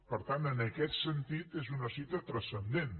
per tant en aquest sentit és una cita transcendent